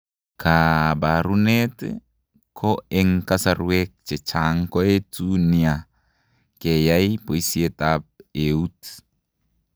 Kaabarunet ko eng' kasarwek chechang' koetu nia keyaay boisietap eut.